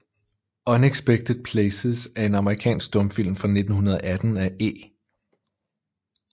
Unexpected Places er en amerikansk stumfilm fra 1918 af E